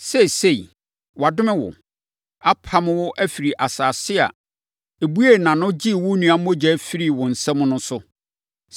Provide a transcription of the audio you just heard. Seesei, wɔadome wo, apamo wo afiri asase a ɛbuee nʼano gyee wo nua mogya firii wo nsam no so.